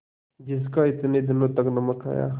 जिसका इतने दिनों तक नमक खाया